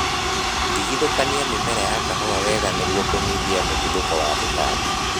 Tigithũkania mĩmera ya kahũa wega nĩguo kũnyihia mũtuthũko wa tũtambi